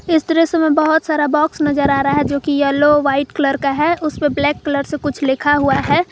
इस दृश्य से मैं बहुत सारा बॉक्स नजर आ रहा है जो की येलो व्हाइट कलर का है उसपे ब्लैक कलर से कुछ लिखा हुआ है।